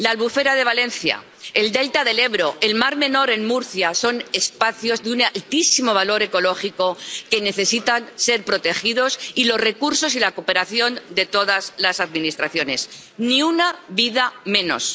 La albufera de Valencia, el delta del Ebro, el mar Menor en Murcia son espacios de un altísimo valor ecológico, que necesitan ser protegidos y los recursos y la cooperación de todas las administraciones. Ni una vida menos.